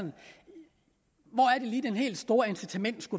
lige det helt store incitament